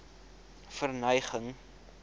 verneging